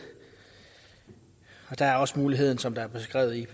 og der er også den mulighed som er beskrevet i